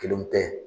Kelenw tɛ